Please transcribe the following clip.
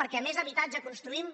perquè com més habitatge construïm